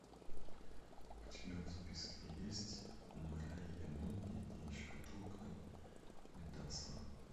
у тебя в списке есть мэрайа мунди и шкатулка мидаса